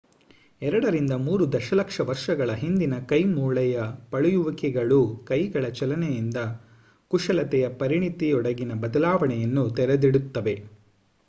ಎರಡರಿಂದ ಮೂರು ದಶಲಕ್ಷ ವರ್ಷಗಳ ಹಿಂದಿನ ಕೈ ಮೂಳೆಯ ಪಳಿಯುಳಿಕೆಗಳು ಕೈಗಳ ಚಲನೆಯಿಂದ ಕುಶಲತೆಯ ಪರಿಣಿತಿಯೆಡೆಗಿನ ಬದಲಾವಣೆಯನ್ನು ತೆರೆದಿಡುತ್ತವೆ